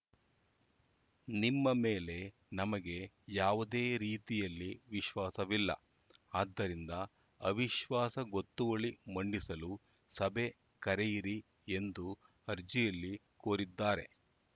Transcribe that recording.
ನಿಮ್ಮ ಮೇಲೆ ನಮಗೆ ಯಾವುದೇ ರೀತಿಯಲ್ಲಿ ವಿಶ್ವಾಸವಿಲ್ಲ ಆದ್ದರಿಂದ ಅವಿಶ್ವಾಸ ಗೊತ್ತುವಳಿ ಮಂಡಿಸಲು ಸಭೆ ಕರೆಯಿರಿ ಎಂದು ಅರ್ಜಿಯಲ್ಲಿ ಕೋರಿದ್ದಾರೆ